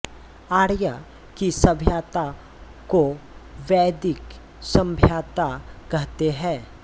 आर्यों की सभ्यता को वैदिक सभ्यता कहते हैं